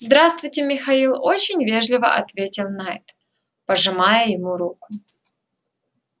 здравствуйте михаил очень вежливо ответил найд пожимая ему руку